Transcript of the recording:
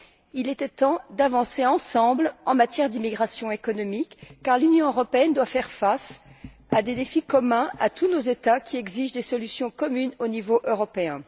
Il était temps d'avancer ensemble en matière d'immigration économique, car l'Union européenne doit faire face à des défis communs à tous ses États membres, qui exigent des solutions communes au niveau européen.